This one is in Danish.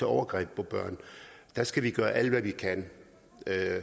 overgreb på børn der skal vi gøre alt hvad vi kan